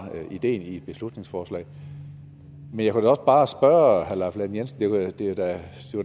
ideen i beslutningsforslaget men jeg kunne også bare lahn jensen at det da